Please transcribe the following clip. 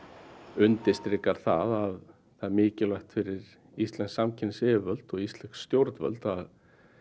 undirstrikar það að það er mikilvægt fyrir íslensk samkeppnisyfirvöld og íslensk stjórnvöld að